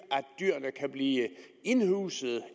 dyrene kan blive indhuset